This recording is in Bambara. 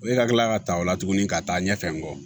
E ka kila ka ta ola tugunni ka taa ɲɛfɛ n kɔ